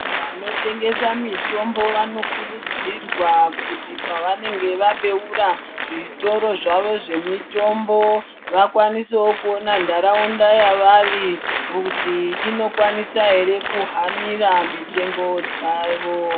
Vanotengesa mitombo vanokurudzirwa kuti pavanenge vabeura zvitoro zvavo zvemitombo vakwanise kuona nharaunda yavari kuti inokwanisa ere kuhanira mitengo dzavo.